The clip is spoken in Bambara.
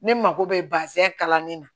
Ne mako bɛ bazɛn kalannen na